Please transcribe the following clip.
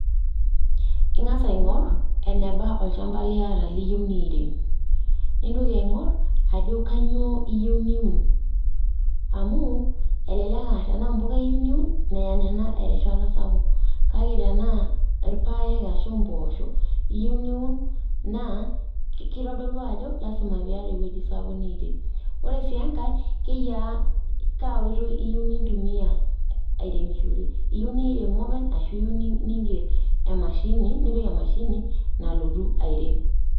Ing`as aing`or enaba olchamba liata liyieu niirem, nintoki aing`or ajo kainyoo iyieu niun. Amu elelek aa tenaa mpuka iyieu niun meya nena erishata sapuk, kake tenaa irpaek ashu mpoosho iyieu niun naa kitodolu ajo lazima pee iyata ewueji sapuk niyieu niirem. Ore sii enkae keyaa kaa woitoi iyieu nintumiya airemishore, iyieu nirem openy ashu iyieeu ning`er emashini nipik emashini nalotu airem.